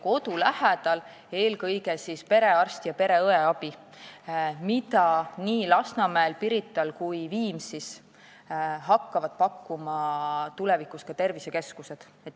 Kodu lähedal peab eelkõige saama perearsti ja pereõe abi, mida nii Lasnamäel, Pirital kui Viimsis hakkavad tulevikus pakkuma ka tervisekeskused.